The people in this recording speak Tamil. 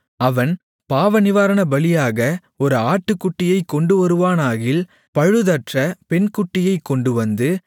அவன் பாவநிவாரணபலியாக ஒரு ஆட்டுகுட்டியைக் கொண்டுவருவானாகில் பழுதற்ற பெண்குட்டியைக் கொண்டுவந்து